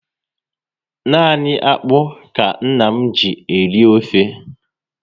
Nani akpụ ka nna m ji eri ofe